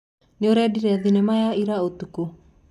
Nĩũrendire thinema ya ira ũtukũ?